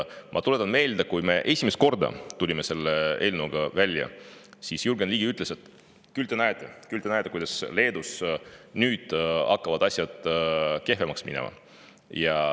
Ma tuletan meelde, et kui me esimest korda tulime selle eelnõuga välja, siis Jürgen Ligi ütles, et küll te näete, küll te näete, kuidas Leedus hakkavad asjad nüüd kehvemaks minema.